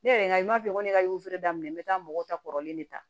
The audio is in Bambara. Ne yɛrɛ ma f'i ye ko ne ka daminɛ n bɛ taa mɔgɔw ta kɔrɔlen de ta